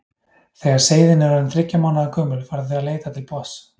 Þegar seiðin eru orðin þriggja mánaða gömul fara þau að leita til botns.